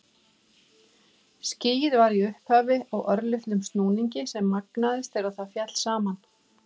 Skýið var í upphafi á örlitlum snúningi sem magnaðist þegar það féll saman.